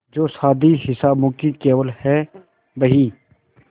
जो शादी हिसाबों की केवल है बही